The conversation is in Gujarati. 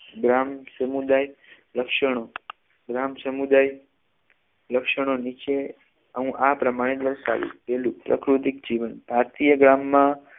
ગ્રામ સમુદાય લક્ષણો ગ્રામ સમુદાય લક્ષણો નીચે હું આ પ્રમાણે દર્શાવીશ પહેલું પ્રકૃતિક જીવન ભારતીય ગ્રામમાં